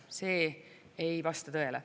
See ei vasta tõele.